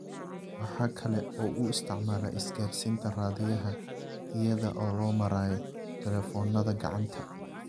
waxa kale oo uu isticmaalaa isgaadhsiinta raadiyaha iyada oo loo marayo taleefoonnada gacanta.